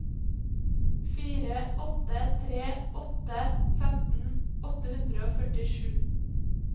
fire åtte tre åtte femten åtte hundre og førtisju